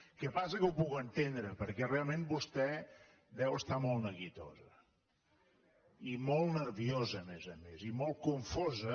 el que passa que ho puc entendre perquè realment vostè deu estar molt neguitosa i molt nerviosa a més a més i molt confosa